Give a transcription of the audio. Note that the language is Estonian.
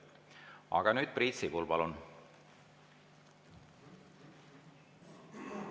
Aga nüüd Priit Sibul, palun!